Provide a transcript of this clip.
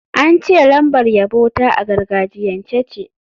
An ce lambar yabo ta a gargajiyance ce.